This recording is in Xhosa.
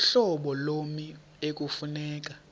uhlobo lommi ekufuneka